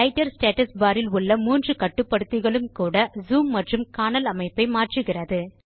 writer status bar இல் உள்ள மூன்று கட்டுப்படுத்திகளும் கூட ஜூம் மற்றும் காணல் அமைப்பை மாற்றுகிறது